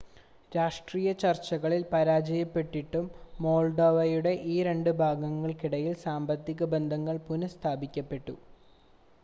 രാഷ്ട്രീയ ചർച്ചകളിൽ പരാജയപ്പെട്ടിട്ടും മോൾഡോവയുടെ ഈ രണ്ട് ഭാഗങ്ങൾക്കിടയിൽ സാമ്പത്തിക ബന്ധങ്ങൾ പുനഃസ്ഥാപിക്കപ്പെട്ടു